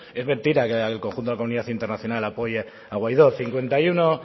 es mentira que el conjunto de la comunidad internacional apoye a guiadó